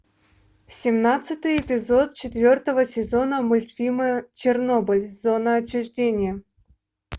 семнадцатый эпизод четвертого сезона мультфильма чернобыль зона отчуждения